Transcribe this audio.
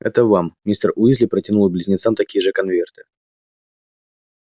это вам мистер уизли протянул и близнецам такие же конверты